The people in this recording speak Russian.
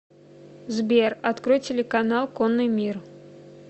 сбер открой телеканал конный мир